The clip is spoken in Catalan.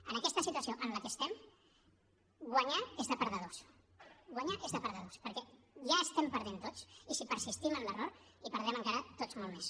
en aquesta situació en la que estem guanyar és de perdedors guanyar és de perdedors perquè ja estem perdent tots i si persistim en l’error hi perdrem encara tots molt més